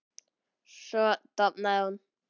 Svo dofnaði hún.